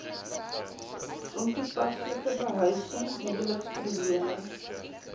ontoepaslike behuising huweliksprobleme